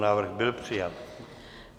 Návrh byl přijat.